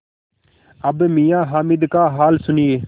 अब मियाँ हामिद का हाल सुनिए